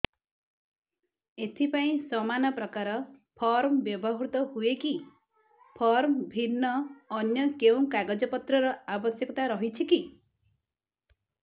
ଏଥିପାଇଁ ସମାନପ୍ରକାର ଫର୍ମ ବ୍ୟବହୃତ ହୂଏକି ଫର୍ମ ଭିନ୍ନ ଅନ୍ୟ କେଉଁ କାଗଜପତ୍ରର ଆବଶ୍ୟକତା ରହିଛିକି